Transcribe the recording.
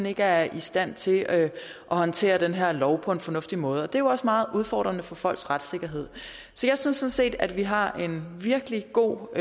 ikke er i stand til at håndtere den her lov på en fornuftig måde det er jo også meget udfordrende for folks retssikkerhed så jeg synes sådan set at vi har en virkelig god